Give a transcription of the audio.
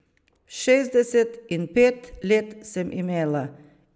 Šestdeset in pet let sem imela.